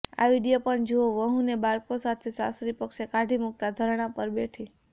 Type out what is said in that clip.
આ વીડિયો પણ જુઓઃ વહુને બાળકો સાથે સાસરી પક્ષે કાઢી મૂકતા ધરણા પર બેઠી